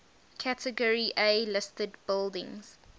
category a listed buildings